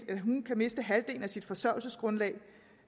kan miste halvdelen af sit forsørgelsesgrundlag